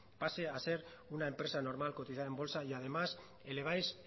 pase a ser una empresa normal cotizar en bolsa y además eleváis